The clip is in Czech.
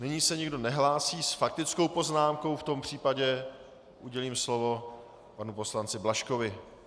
Nyní se nikdo nehlásí s faktickou poznámkou, v tom případě udělím slovo panu poslanci Blažkovi.